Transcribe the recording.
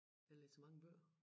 Jeg læser mange bøger